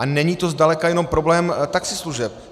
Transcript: A není to zdaleka jenom problém taxislužeb.